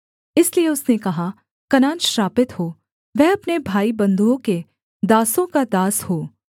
इसलिए उसने कहा कनान श्रापित हो वह अपने भाईबन्धुओं के दासों का दास हो